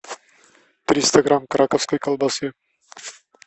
триста грамм краковской колбасы